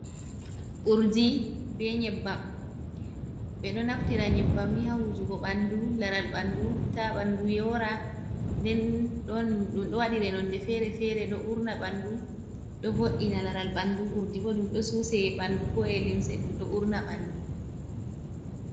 Urdi be nyebbam, ɓeɗo naftira nyebbam ni hawujugo ɓandu, laral bandu ta ɓandu yora, nden ɗum ɗo waɗi nonde fere fere, ɗo urna ɓandu ɗo vo’ina laral ɓandu. urdi bo ɗum ɗo susee ɓandu ko’e limse ɗum ɗo urna ɓandu.